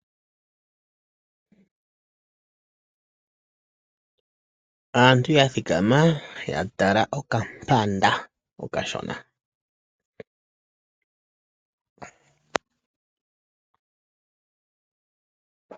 Aantu ya thikama ya tala okampanda okashona.